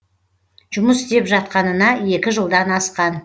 жұмыс істеп жатқанына екі жылдан асқан